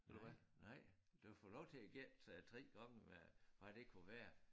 Nej nej du får lov til at gætte 3 gange hvad hvad det kunne være